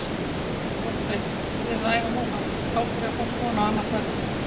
Kolbeinn, þið eruð að æfa núna, á hverju á fólk von á annað kvöld?